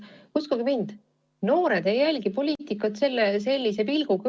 Uskuge mind, noored ei jälgi poliitikat sellise pilguga.